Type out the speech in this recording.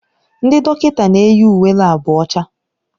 Ndị dọkịta na-eyi uwe laabu ọcha.